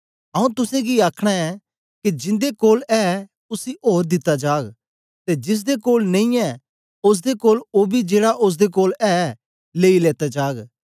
आऊँ तुसेंगी आखना ऐं के जिन्दे कोल ऐ उसी ओर दिता जाग ते जिसदे कोल नेई ऐ ओसदे कोल ओ बी जेड़ा ओसदे कोल ऐ लेई लेता जाग